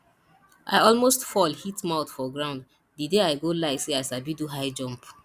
i almost fall hit mouth for ground the day i go lie say i sabi do high jump